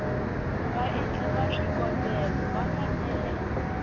vaendli va swikombelo va fanele